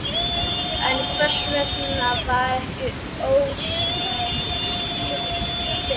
En hvers vegna var ekki óskað skýringa fyrr?